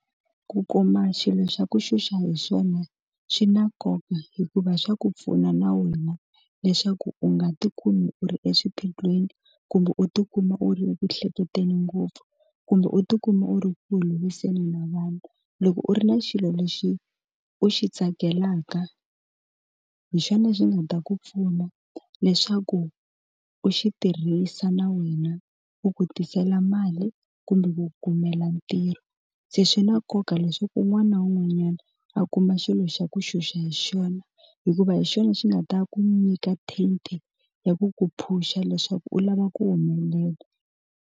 Ku kuma xilo xa ku xuxa hi xona xi na nkoka hikuva swa ku pfuna na wena leswaku u nga tikuma u ri exiphiqo lweni kumbe u tikuma u ri ku hleketeni ngopfu kumbe u tikuma u ri ku lulamiseni na vanhu loko u ri na xilo lexi u xi tsakelaka hi xona xi nga ta ku pfuna leswaku u xi tirhisa na wena u ku tisela mali kumbe ku kumela ntirho se swi na nkoka leswaku un'wana na un'wanyana a kuma xilo xa ku xuxa hi xona hikuva hi xona xi nga ta ku nyika ten t ya ku ku phusha leswaku u lava ku humelela.